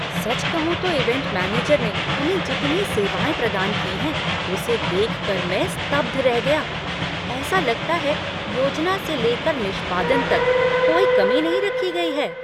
सच कहूँ तो event manager ने हमें जितनी सेवाएँ प्रदान की हैं उसे देख मैं स्तब्ध रह गया, ऐसा लगता है योजना से लेकर निष्पादन तक कोई कमी नहीं रखी गई है।